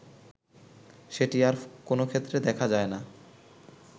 সেটি আর কোন ক্ষেত্রে দেখা যায় না